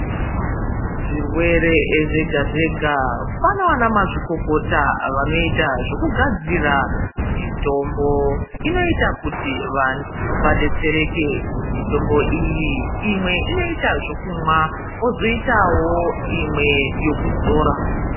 Zvirwere zvega zvega, pana ana mazvikokota vanoita zvekugadzira mitombo inoita kuti vantu adetsereke. Mitombo iyi, imwe inoita zvekumwa, pozoitawo imwe yekuzora.